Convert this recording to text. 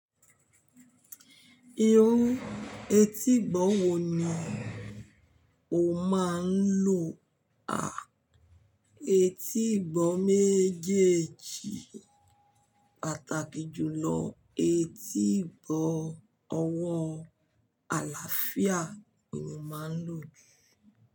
Irú etígbọ̀ wò ni o máa ń lò? À, etígbọ̀ méjèèjì pàtàkì jùlọ etígbọ̀ ọwọ́ àlàáfíà ni mo máa ń lò jù.